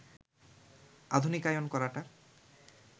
আধুনিকায়ন করাটা